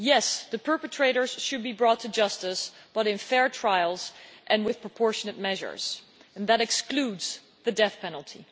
Yes, the perpetrators should be brought to justice but in fair trials and with proportionate measures, and that excludes the death penalty.